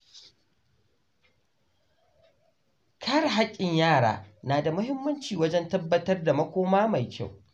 Kare haƙƙin yara yana da mahimmanci wajen tabbatar da makoma mai kyau.